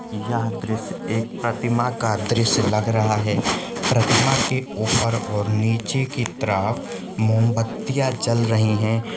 यह दृश्य एक प्रतिमा का दृश्य लग रहा हे प्रतिमा की ऊपर और नीचे की तरफ मोमबत्तिया जल रही हे।